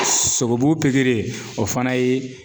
Sogobu pikiri o fana ye